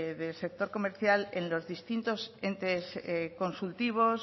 del sector comercial en los distintos entes consultivos